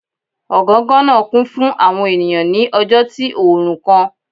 Ọgangan naa kun fun awọn eniyan ni ọjọ ti oorun kan.